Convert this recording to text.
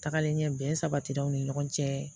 Tagalen ɲɛ bɛn sabatira aw ni ɲɔgɔn cɛ